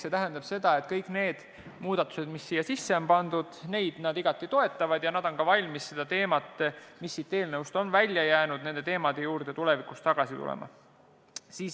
See tähendab seda, et kõiki neid muudatusi, mis on siia sisse pandud, nad igati toetavad ning on valmis ka nende teemade juurde, mis on siit eelnõust välja jäänud, tulevikus tagasi tulema.